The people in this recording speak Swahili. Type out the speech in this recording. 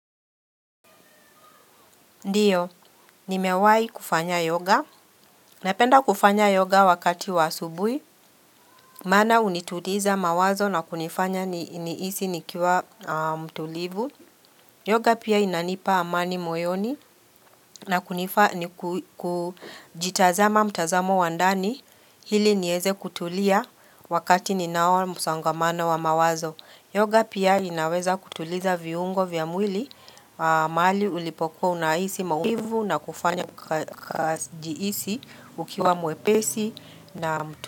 Ndiyo, nimewai kufanya yoga. Napenda kufanya yoga wakati wa asubuhi. Maana hunituliza mawazo na kunifanya nihisi nikiwa mtulivu. Yoga pia inanipa amani moyoni na kunifanya kujitazama mtazamo wa ndani. Ili nieze kutulia wakati ninao msongamano wa mawazo. Yoga pia inaweza kutuliza viungo vya mwili, mahali ulipokuwa unahisi maumivu na kufanya kujihisi ukiwa mwepesi na mtu.